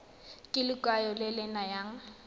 ke lekwalo le le nayang